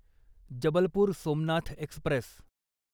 Jabalpur Somnath Express